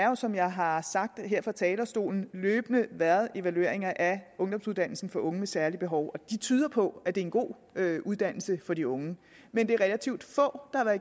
jo som jeg har sagt her fra talerstolen løbende været evalueringer af ungdomsuddannelsen for unge med særlige behov og de tyder på at det er en god uddannelse for de unge men det er relativt få